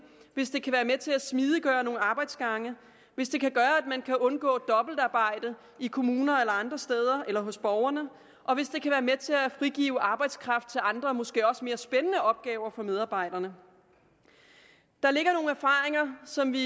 hvis det kan være med til at smidiggøre nogle arbejdsgange hvis det kan gøre at man kan undgå dobbeltarbejde i kommuner eller andre steder eller hos borgerne og hvis det kan være med til at frigive arbejdskraft til andre og måske også mere spændende opgaver for medarbejderne der ligger nogle erfaringer som vi